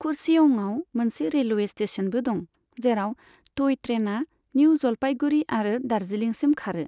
कुर्सेअंआव मोनसे रेलवे स्टेशनबो दं, जेराव टय ट्रेनआ निउ जलपाईगुड़ी आरो दार्जिलिंसिम खारो।